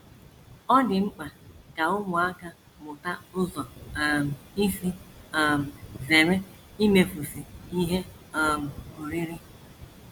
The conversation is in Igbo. Ọ dị mkpa ka ụmụaka mụta ụzọ um isi um zere imefusị ihe um oriri